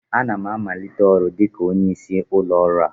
Ana m amalite ọrụ dịka onye isi ụlọ ọrụ a